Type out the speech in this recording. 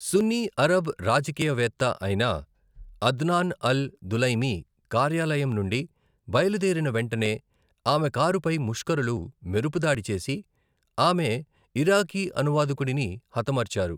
సున్నీ Arab రాజకీయవేత్త అయిన Adnan al Dulaimi కార్యాలయం నుండి బయలుదేరిన వెంటనే, ఆమె కారు పై ముష్కరులు మెరుపుదాడి చేసి ఆమె ఇరాకీ అనువాదకుడిని హతమార్చారు.